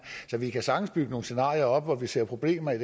så vi kan sagtens bygge nogle scenarier op hvor vi ser problemer i